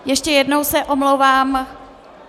Ještě jednou se omlouvám.